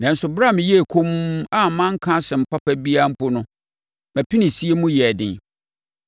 Nanso brɛ a meyɛɛ komm a manka asɛm papa biara mpo no mʼapinisie mu yɛɛ den.